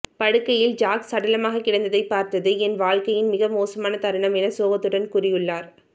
படுக்கையில் ஜாக் சடலமாக கிடந்ததை பார்த்தது என் வாழ்க்கையின் மிக மோசமான தருணம் என சோகத்துடன் கூறியுள்ளார்